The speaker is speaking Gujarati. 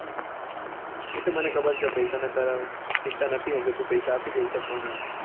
એ તો મને ખબર છે પેસા ને તારે ચિંતા નથી એમ તો પેસા આપી દેશે પણ